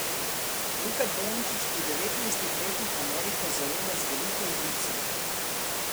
Luka Dončić pri devetnajstih letih Ameriko zajema z veliko žlico.